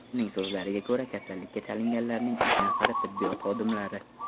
Uning so‘zlariga ko‘ra, kasallikka chalinganlarning uch nafari tibbiyot xodimlari.